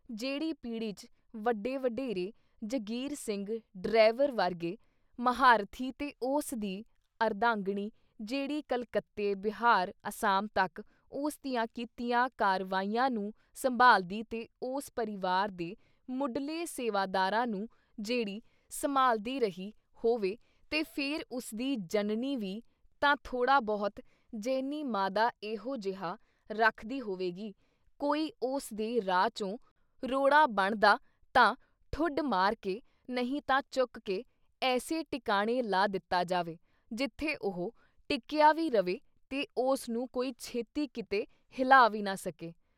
ਜਿਹੜੀ ਪੀਹੜੀ 'ਚ ਵੱਡੇ ਵਡੇਰੇ ਜਗੀਰ ਸਿੰਘ ਡਰੈਵਰ ਵਰਗੇ ਮਹਾਂਰਥੀ ਤੇ ਉਸ ਦੀ ਅਰਧਾਂਗਣੀ ਜਿਹੜੀ ਕਲਕੱਤੇ, ਬਿਹਾਰ, ਅਸਾਮ ਤੱਕ ਉਸਦੀਆਂ ਕੀਤੀਆਂ ਕਾਰਵਾਈਆਂ ਨੂੰ ਸੰਭਾਲਦੀ ਤੇ ਉਸ ਪਰਿਵਾਰ ਦੇ ਮੁਢਲੇ ਸੇਵਾਦਾਰਾਂ ਨੂੰ ਜਿਹੜੀ ਸੰਮਾਲ੍ਹਦੀ ਰਹੀ ਹੋਵੇ ਤੇ ਫਿਰ ਉਸਦੀ ਜਣਨੀ ਵੀ ਤਾਂ ਥੋੜਾ ਬਹੁਤ ਜੇਹਨੀ ਮਾਦਾ ਐਹੋ ਜਿਹਾ ਰੱਖਦੀ ਹੋਵੇਗੀ ਕੋਈ ਉਸ ਦੇ ਰਾਹ 'ਚੋਂ ਰੋੜਾ ਬਣਦਾ ਤਾਂ ਠੁੱਡ ਮਾਰਕੇ ਨਹੀਂ ਤਾਂ ਚੁੱਕ ਕੇ, ਐਸੇ ਟਿਕਾਣੇ ਲਾ ਦਿੱਤਾ ਜਾਵੇ, ਜਿੱਥੇ ਉਹ ਟਿਕਿਆ ਵੀ ਰਵੇ ਤੇ ਉਸ ਨੂੰ ਕੋਈ ਛੇਤੀ ਕੀਤੇ ਹਿਲਾ ਵੀ ਨਾ ਸਕੇ।